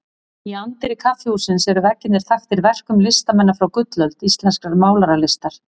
Í anddyri kaffihússins eru veggirnir þaktir verkum listamanna frá gullöld íslenskrar málaralistar.